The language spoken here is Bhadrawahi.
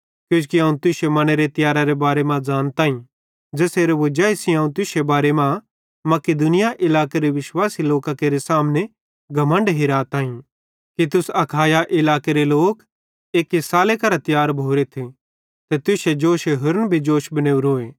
किजोकि अवं तुश्शे मनेरे तियैरारे बारे मां ज़ानताईं ज़ेसेरे वजाई सेइं अवं तुश्शे बारे मां मकिदुनिया इलाकेरे विश्वासी लोकां केरे सामने घमण्ड हिराताईं कि तुस अखाया इलाकेरे लोक एक्की साले करां तियार भोरेथ ते तुश्शे जोशे होरन भी जोश बनेवरोए